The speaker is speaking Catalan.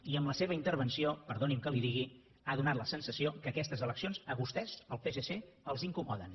i amb la seva intervenció perdoni’m que li ho digui ha fet la sensació que aquestes eleccions a vostès al psc els incomoda